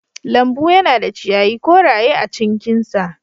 Lambu yana da ciyayi koraye a cinkinsa.